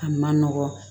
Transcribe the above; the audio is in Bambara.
A man nɔgɔn